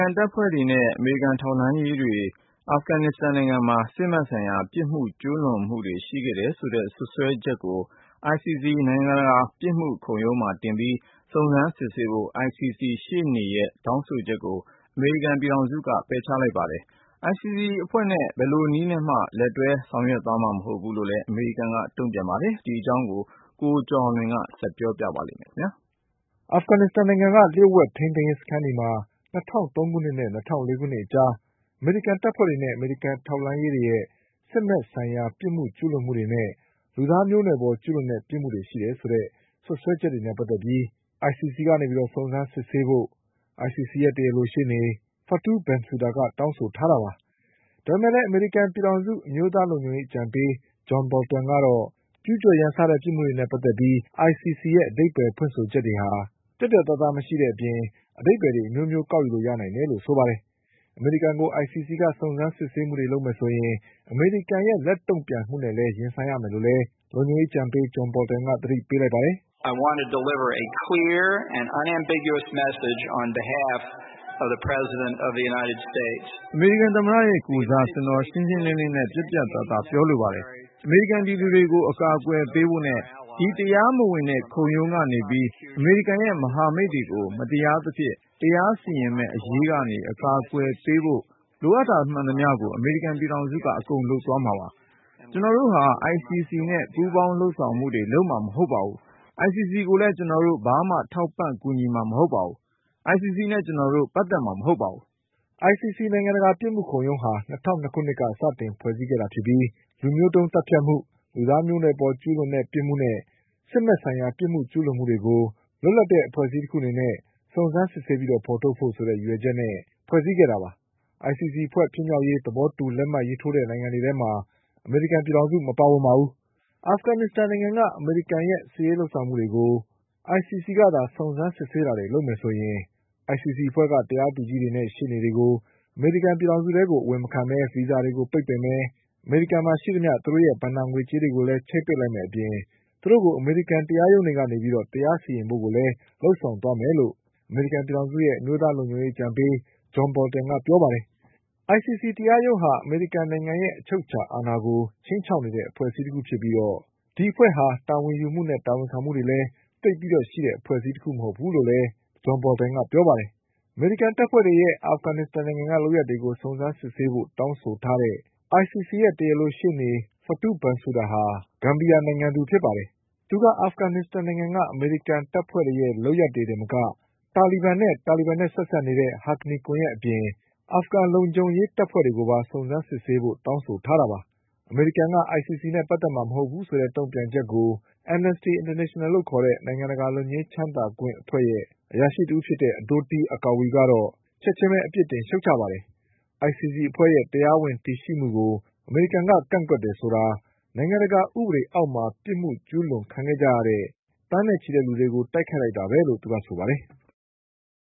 န်တပ်ဖွဲ့တွေနဲ့ အမေရိကန်ထောက်လှန်းရေးတွေအာဖဂန်နစ္စတန်နိုင်ငံမှာ စစ်ဘက်ဆိုင်ရာပြစ်မှုကျူးလွန်မှု တွေရှိတယ်ဆိုတဲ့စွပ်စွဲချက်တွေကို ICC နိုင်ငံတကာပြစ်မှုခုံရုံးမှာတင်ပြီး စုံစမ်းစစ်ဆေးဖို့ ICCရှေ့နေရဲ့တောင်းဆိုချက်ကို အမေရိကန်ပြည်ထောင်စုက ပယ်ချလိုက်ပါတယ်။ ICCအဖွဲ့နဲ့ဘယ်လိုနည်းနဲ့မှလက်တွဲလုပ်ဆောင်သွားမှာမဟုတ်ဘူးလို့ လည်း အမေရိကန်က တုံ့ပြန်ပါတယ်။ ဒီအကြောင်း ကိုကျော်အောင်လွင်က ဆက်ပြောပါလိမ့်မယ်။ Afghanistan နိုင်ငံက လျှို့ဝှက်ထိန်းသိမ်းရေးစခန်းတွေမှာ ၂၀၀၃ခုနှစ်နဲ့ ၂၀၀၄ခုနှစ်အကြား အမေရိကန်တပ်ဖွဲ့တွေနဲ့ အမေရိကန်ထောက်လှန်းရေးတွေရဲ့ စစ်ဘက်ဆိုင်ရာပြစ်မှုကျူး လွန်မှုတွေနဲ့ လူသားမျိုးနွယ်ပေါ်ကျူးလွန်တဲ့ပြစ်မှုတွေရှိတယ်ဆိုတဲ့ စွပ်စွဲချက်တွေနဲ့ပတ်သက်လို့ ICCကစုံစမ်းစစ်ဆေးဖို့ ICCရဲ့ တရားလိုရှေ့နေ Fatou Bensouda ကတောင်းဆိုထားတာပါ။ ဒါပေမယ့်လည်း အမေရိကန်ပြည်ထောင်စု အမျိုးသား လုံခြုံရေးအကြံပေး John Boltonကတော့ ကျူးကျော်ရန်စတဲ့ပြစ်မှုတွေနဲ့ပတ်သက်ပြီး ICCရဲ့ အဓိပ္ပါယ်ဖွင့်ဆိုချက်တွေဟာ ပြတ်ပြတ် သားသားမရှိတဲ့အပြင် အဓိပ္ပါယ်အမျိုးမျိုးကောက်ယူနိုင်တယ်လို့ဆိုပါတယ်။ အမေရိကန်ကို ICC က စုံစမ်းစစ်ဆေးမှုတွေ လုပ်မယ်ဆိုရင် အမေရိကန်ရဲ့လက်တုံ့ပြန်မှုတွေနဲ့ရင်ဆိုင်ရမယ်လို့လည်း လုံခြုံရေးအကြံပေး John Boltonက သတိ ပေးလိုက်ပါတယ်။ 'အမေရိကန်သမ္မတရဲ့ကိုယ်စား ကျနော်ရှင်းရှင်းလင်းလင်းနဲ့ပြတ်ပြတ်သားသား ပြောလိုပါတယ်။ အမေရိကန်ပြည်သူတွေ ကို အကာအကွယ်ပေးဖို့နဲ့ ဒီတရားမဝင်တဲ့ ခုံရုံးကနေပြီး အမေရိကန်ရဲ့ မဟာမိတ်တွေကို မတရားသဖြင့် တရားစီရင်မယ့်အရေးကနေ အကာအကွယ်ပေးဖို့ လိုအပ်တာမှန်သမျှကို အမေရိကန်ပြည်ထောင်စုက အကုန်လုပ်သွားမှာပါ။ ကျနော် တို့ဟာ ICC နဲ့ ပူးပေါင်းလုပ်ဆောင်မှုတွေ လုပ်မှာမဟုတ်ပါဘူး။ ICC ကိုလည်း ကျနော်တို့ ဘာမှထောက်ပံ့ကူညီ မှာ မဟုတ်ပါဘူး။ ICC နဲ့ကျနော်တို့ ပတ်သက်မှာမဟုတ်ပါဘူး" ICC နိုင်ငံတကာပြစ်မှုခုံရုံးဟာ ၂၀၀၂ခုနှစ်က စတင်ဖွဲ့စည်းခဲ့တာဖြစ်ပြီး လူမျိုးတုံးသတ်ဖြတ်မှု၊ လူသားမျိုးနွယ်ပေါ် ကျူးလွန်တဲ့ပြစ်မှုနဲ့ စစ်ဘက်ဆိုင်ရာပြစ်မှုကျူးလွန်မှုတွေကို လွတ်လပ်တဲ့အဖွဲ့အစည်းတခုအနေနဲ့စုံစမ်းစစ်ဆေးဖေါ်ထုတ်ဖို့ ဆိုတဲ့ ရည်ရွယ်ချက်နဲ့ဖွဲ့စည်းခဲ့တာပါ။ ICCအဖွဲ့ဖြစ်မြောက်ရေး သဘောတူလက်မှတ်ရေးထိုးတဲ့နိုင်ငံတွေထဲမှာ အမေရိကန်ပြည်ထောင်စု မပါဝင်ပါဘူး။ အာဖဂန်နစ္စတန်နိုင်ငံက အမေရိကန်ရဲ့စစ်ရေးလုပ်ဆောင်မှုတွေကို ICC ကသာ စုံစမ်းစစ်ဆေးတာတွေလုပ်မယ်ဆိုရင် ICC အဖွဲ့က တရားသူကြီးတွေနဲ့ရှေ့နေတွေကို အမေရိကန်ပြည်ထောင်စုကို အဝင်မခံပဲ ဗီဇာတွေပိတ်မယ်၊ အမေရိကန် မှာရှိသမျှ သူတို့ရဲ့ ဘဏ္ဍာငွေကြေးတွေကိုလည်း ချိတ်ပိတ်လိုက်မယ့်အပြင် သူတို့ကို အမေရိကန်တရားရုံးတွေကနေ တရားစီရင်ဖို့လည်းလုပ်ဆောင်သွားမယ်လို့ အမေရိကန်ပြည်ထောင်စုရဲ့ အမျိုးသားလုံခြုံရေးအကြံပေး John Boltonက ပြောပါတယ်။ ICC တရားရုံးဟာ အမေရိကန်နိုင်ငံရဲ့အချုပ်အခြာအာဏာကို ခြိမ်းခြောက်နေတဲ့အဖွဲ့အစည်းတခုဖြစ်ပြီး ဒီအဖွဲ့ဟာ တာဝန်ယူမှု၊ တာဝန်ခံမှုတွေလည်း သိပ်ပြီးရှိတဲ့အဖွဲ့တခုမဟုတ်ဘူးလို့လည်း John Boltonကပြောပါတယ်။ အမေရိကန် တပ်ဖွဲ့တွေရဲ့အာဖဂန်နိုင်ငံက လုပ်ရပ်တွေကို စုံစမ်းစစ်ဆေးဖို့တောင်းဆိုတဲ့ တရားလိုရှေ့နေ Fatou Bensouda ဟာ ဂမ်ဘီယာနိုင်ငံသူဖြစ်ပါတယ်။ သူက အာဖဂန်နစ္စတန်နိုင်ငံက အမေရိကန်တပ်တွေရဲ့လုပ်ရပ်တွေတင်မက တာလီဘန်နဲ့ တာလီဘန်နဲ့ဆက်စပ် နေတဲ့ Haqqani ကွန်ယက်အပြင် အာဖဂန်အစိုးရလုံခြုံရေးတပ်ဖွဲ့တွေကိုပါ စုံစမ်းစစ်ဆေးဖို့တောင်းဆိုထားတာပါ။ အမေရိကန် က ICC နဲ့ ပတ်သက်မှာမဟုတ်ဘူးဆိုတဲ့တုံ့ပြန်ချက်ကို AI လို့ခေါ်တဲ့ နိုင်ငံတကာလွတ်ငြိမ်းချမ်းသာခွင့်အဖွဲ့ရဲ့အရာရှိ Adotei Akwei ကတော့ ချက်ချင်းပဲ အပြစ်တင်ရှုတ်ချပါတယ်။ ICC အဖွဲ့ရဲ့တရားဝင်တည်ရှိမှုကို အမေရိကန်က ကန့်ကွက်တယ်ဆိုတာ နိုင်ငံတကာဥပေဒေအောက်မှာ ပြစ်မှုကျူးလွန်ခံခဲ့ကြရတဲ့ သန်းနဲ့ချီတဲ့လူတွေကိုတိုက်ခိုက်လိုက်တာပဲလို့ ဆိုပါတယ်။